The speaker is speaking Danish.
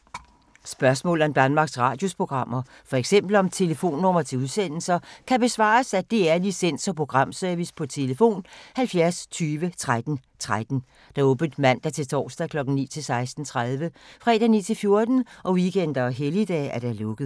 Spørgsmål om Danmarks Radios programmer, f.eks. om telefonnumre til udsendelser, kan besvares af DR Licens- og Programservice: tlf. 70 20 13 13, åbent mandag-torsdag 9.00-16.30, fredag 9.00-14.00, weekender og helligdage: lukket.